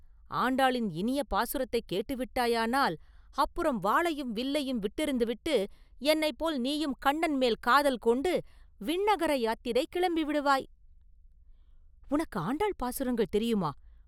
ஆண்டாளின் இனிய பாசுரத்தைக் கேட்டு விட்டாயானால், அப்புறம் வாளையும் வேலையும் விட்டெறிந்து விட்டு என்னைப் போல் நீயும் கண்ணன் மேல் காதல் கொண்டு விண்ணகர யாத்திரை கிளம்பி விடுவாய்!” “உனக்கு ஆண்டாள் பாசுரங்கள் தெரியுமா?